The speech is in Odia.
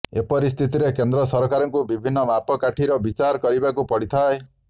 ଏପରିସ୍ଥିତିରେ କେନ୍ଦ୍ର ସରକାରଙ୍କୁ ବିଭିନ୍ନ ମାପକାଠିର ବିଚାର କରିବାକୁ ପଡିଥାଏ